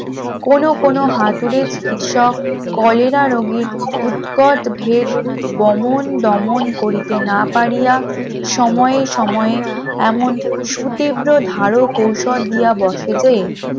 কোন কোন হাতুড়ি চিকিৎসক কলেরা রোগীর উৎকট ভেদ বমন দমন করিতে না পারিয়া সময় সময়ে এমন সুতিব্র ধারক ঔষধ দেয়া বসাতে